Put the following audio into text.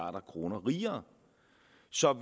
så